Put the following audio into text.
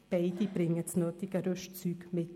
Beide bringen das nötige Rüstzeug mit.